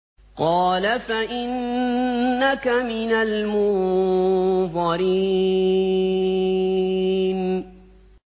قَالَ فَإِنَّكَ مِنَ الْمُنظَرِينَ